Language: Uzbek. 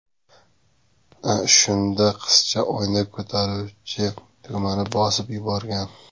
Shunda qizcha oynani ko‘taruvchi tugmani bosib yuborgan.